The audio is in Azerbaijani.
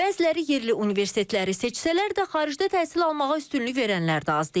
Bəziləri yerli universitetləri seçsələr də, xaricdə təhsil almağa üstünlük verənlər də az deyil.